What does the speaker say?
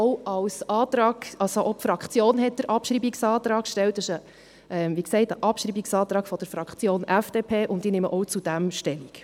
Die Fraktion hat den Abschreibungsantrag gestellt, es ist ein Abschreibungsantrag der Fraktion FDP, und ich nehme auch dazu Stellung.